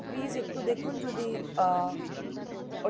তো please একটু দেখুন যদি আহ